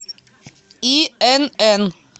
инн